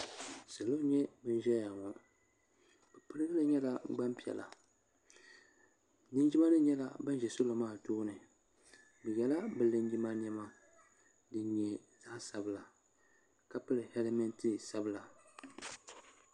salo n nyɛ ban ʒɛya ŋo bi pirigili nyɛla Gbanpiɛla linjima nim nyɛla ban ʒɛ salo maa tooni bi yɛla bi linjima niɛma din nyɛ zaɣ sabila ka pili hɛlmɛnt sabila